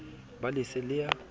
be le se le ya